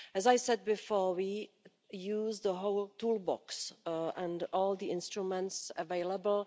As I said before, we use the whole toolbox and all the instruments available.